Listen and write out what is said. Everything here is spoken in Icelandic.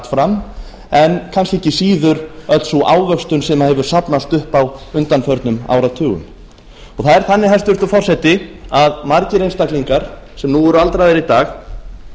fram en kannski ekki síður öll sú ávöxtun sem hefur safnast upp á undanförnum áratugum það er þannig hæstvirtur forseti að margir einstaklingar sem nú eru aldraðir í dag